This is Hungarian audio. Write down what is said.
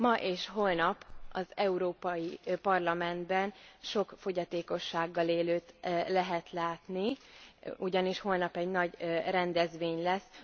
Ma és holnap az Európai Parlamentben sok fogyatékossággal élőt lehet látni, ugyanis holnap egy nagy rendezvény lesz.